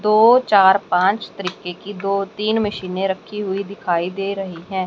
दो चार पांच तरीके की दो तीन मशीने रखी हुई दिखाई दे रहीं हैं।